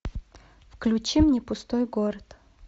включи мне пустой город